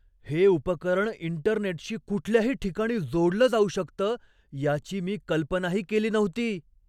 हे उपकरण इंटरनेटशी कुठल्याही ठिकाणी जोडलं जाऊ शकतं याची मी कल्पनाही केली नव्हती.